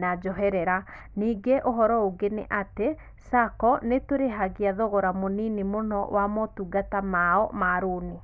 na njoherera. Ningĩ ũhoro ũngĩ nĩatĩ Sacco nitũrihagia thogora munĩnĩ mũno wa mũtungata maũ ma rũnĩ